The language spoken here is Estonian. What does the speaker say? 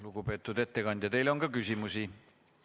Lugupeetud ettekandja, teile on ka küsimusi.